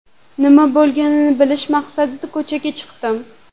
Nima bo‘lganini bilish maqsadida ko‘chaga chiqdim.